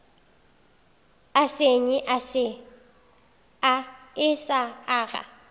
e senye e sa aga